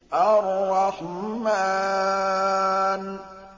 الرَّحْمَٰنُ